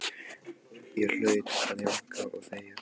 Ég hlaut að jánka og þegja.